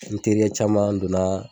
N teri caman donna